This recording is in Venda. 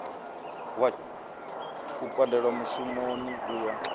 u pandelwa mushumoni u ya